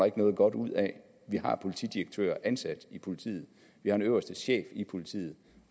ikke noget godt ud af vi har politidirektører ansat i politiet vi har en øverste chef i politiet